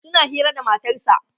suna Hira da matarsa